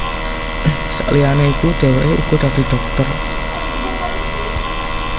Sakliyané iku dhèwèké uga dadi dhokter